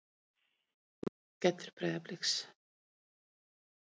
Sex marka skellur Breiðabliks